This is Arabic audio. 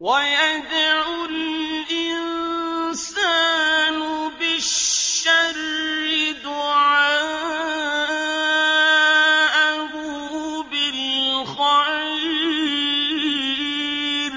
وَيَدْعُ الْإِنسَانُ بِالشَّرِّ دُعَاءَهُ بِالْخَيْرِ ۖ